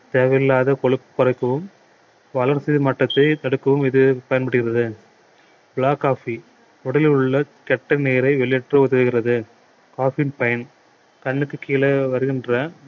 தேவையில்லாத கொழுப்பை குறைக்கவும் வளர்சிதை மாற்றத்தை தடுக்கவும் இது பயன்படுகிறது black coffee உடலில் உள்ள கெட்ட நீரை வெளியேற்ற உதவுகிறது coffee யின் பயன் கண்ணுக்கு கீழே வருகின்ற